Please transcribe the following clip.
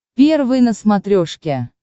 первый на смотрешке